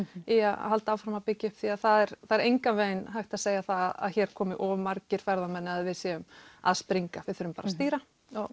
í að halda áfram að byggja upp því það er engan veginn hægt að segja það að hér komi of margir ferðamenn eða við séum að springa við þurfum bara að stýra